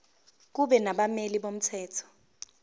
kube nabameli bomthetho